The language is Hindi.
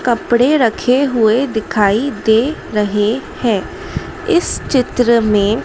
कपडे़ रखे हुए दिखाई दे रहे हैं इस चित्र में--